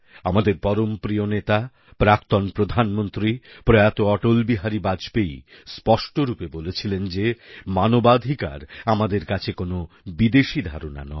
আমাদের পরমপ্রিয় নেতা প্রাক্তন প্রধানমন্ত্রী প্রয়াত অটল বিহারী বাজপেয়ী স্পষ্ট রূপে বলেছিলেন যে মানবাধিকার আমাদের কাছে কোনও বিদেশী ধারণা নয়